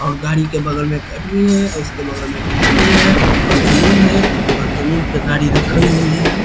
और गाड़ी के बगल में है उसके बगल में एक झोपड़ी है और जमीन है और जमीन पे गाड़ी रखी हुई है।